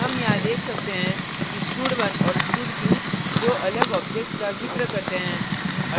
हम यहाँ देख सकते हैं कि stud1 और stud2 दो अलग objects का जिक्र करते हैं